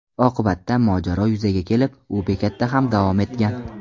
Oqibatda mojaro yuzaga kelib, u bekatda ham davom etgan.